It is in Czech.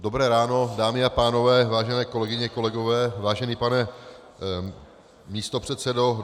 Dobré ráno dámy a pánové, vážené kolegyně, kolegové, vážený pane místopředsedo.